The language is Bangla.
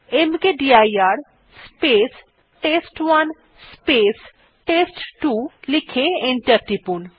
মকদির স্পেস টেস্ট1 স্পেস টেস্ট2 লিখে এন্টার টিপুন